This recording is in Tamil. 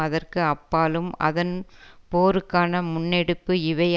அதற்கு அப்பாலும் அதன் போருக்கான முன்னெடுப்பு இவை